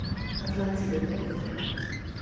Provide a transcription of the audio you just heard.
атлантида дент на карте